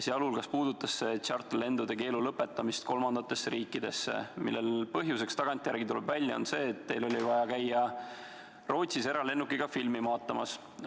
Muu hulgas puudutas ta ka kolmandatesse riikidesse tehtavate tšarterlendude keelu lõpetamist, mille põhjuseks, tagantjärele tuleb välja, on see, et teil oli vaja käia Rootsis eralennukiga filmi vaatamas.